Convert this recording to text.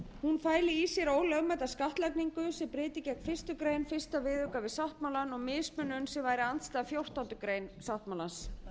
hún fæli í sér ólögmæta skattlagningu sem breyti gegn fyrstu grein fyrsta viðauka við sáttmálann og mismunun sem væri andstæð fjórtándu greinar sáttmálans